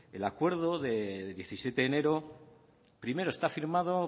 el acuerdo de diecisiete de enero primero está firmado